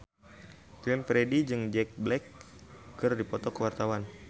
Glenn Fredly jeung Jack Black keur dipoto ku wartawan